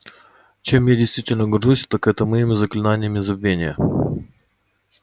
чем я действительно горжусь так это моими заклинаниями забвения